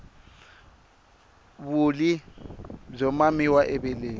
vulyi byo mamiwa eveleni